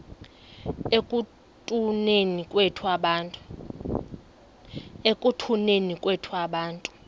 ekutuneni kwethu abantu